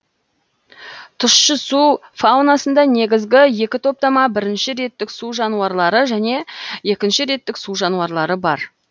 тұщы су фаунасында негізгі екі топтама бірінші реттік су жануарлары және екінші реттік су жануарлары бар